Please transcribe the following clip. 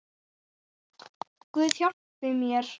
Guð hjálpi mér.